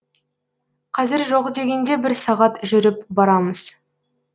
қазір жоқ дегенде бір сағат жүріп барамыз